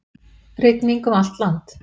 Rigning um allt land